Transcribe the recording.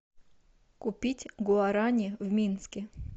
купить гуарани в минске